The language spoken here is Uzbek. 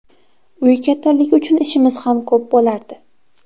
Uy kattaligi uchun ishimiz ham ko‘p bo‘lardi.